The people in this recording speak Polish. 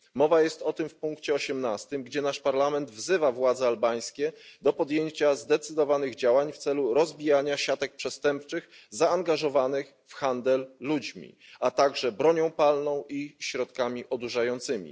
Mowa jest o tym w punkcie 18, gdzie nasz Parlament wzywa władze albańskie do podjęcia zdecydowanych działań w celu rozbijania siatek przestępczych zaangażowanych w handel ludźmi, a także bronią palną i środkami odurzającymi.